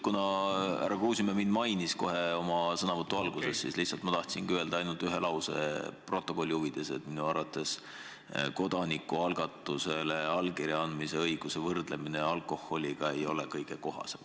Kuna härra Kruusimäe mainis kohe oma sõnavõtu alguses mind, siis ma tahan öelda ainult ühe lause stenogrammi huvides: minu arvates kodanikualgatuse toetuseks allkirja andmise õiguse võrdlemine õigusega alkoholi osta ei ole kõige kohasem.